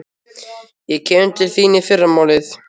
Ég kem til þín í fyrramálið.